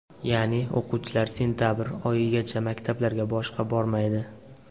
Ya’ni, o‘quvchilar sentabr oyigacha maktablarga boshqa bormaydi.